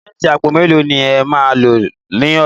Símẹ́ǹtì àpò mẹ́lò ni à má lọ ní ọ̀lá?